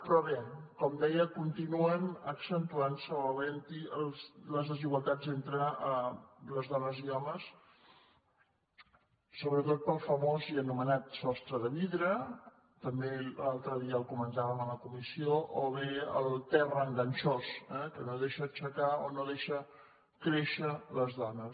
però bé com deia continuen accentuant·se o havent·hi les desigual·tats entre les dones i homes sobretot pel famós i ano·menat sostre de vidre també l’altre dia el comentà·vem a la comissió o bé el terra enganxós eh que no deixa aixecar o no deixa créixer les dones